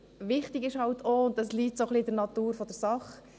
Wichtig ist eben auch, und das liegt ein wenig in der Natur der Sache: